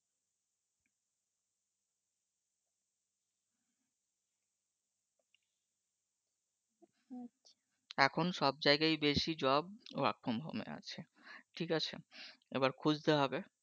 এখন সব জায়গায় বেসি jobwork from home আছে, ঠিক আছে, এবার খুঁজতে হবে।